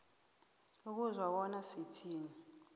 ukuzwa bona sithini